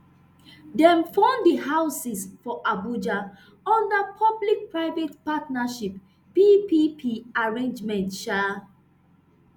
dem fund di houses for abuja under public private partnership ppp arrangement um